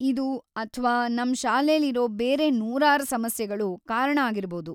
ಇದು ಅಥ್ವಾ ನಮ್‌ ಶಾಲೇಲಿರೋ ಬೇರೆ ನೂರಾರ್ ಸಮಸ್ಯೆಗಳು ಕಾರಣ ಆಗಿರ್ಬೌದು.